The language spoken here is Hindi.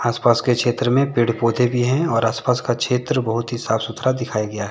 आस पास के क्षेत्र में पेड़ पौधें भी हैं और आस पास का क्षेत्र बहुत ही साफ सुथरा दिखाया गया है।